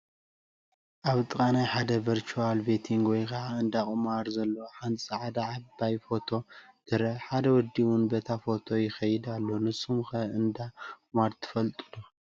ኣብ ጥቓ ናይ ሓደ ቨርቹዋል ቤቲንግ ወይ ከዓ እንዳ ቁማር ዘለዎ ሓንቲ ፃዕዳ ዓባይ ሮቶ ትረአ፡፡ ሓደ ወዲ ውን በታ ሮቶ ይኸይድ ኣሎ፡ንስኹም ከ እንዳ ቁማር ዶ ትፈልጡ?